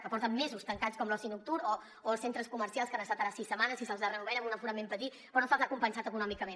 que porten mesos tancats com l’oci nocturn o els centres comercials que hi han estat ara sis setmanes i se’ls ha reobert amb un aforament petit però no se’ls ha compensat econòmicament